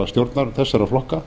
stjórnar þessara flokka